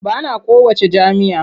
Ba na kowacce jam'iyya.